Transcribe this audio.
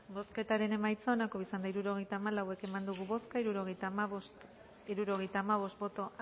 bozketaren emaitza onako izan da hirurogeita hamalau eman dugu bozka hirurogeita hamabost boto